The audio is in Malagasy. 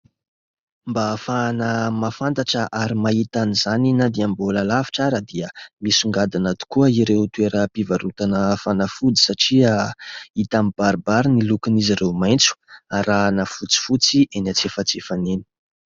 Mba ahafahana mahafantatra ary mahita an'izany na dia mbola alavitra ary dia misongadina tokoa ireo toeram-pivarotana fanafody satria hita mibaribary ny lokon'izy ireo maitso arahina fotsifotsy eny antsefatsefany eny.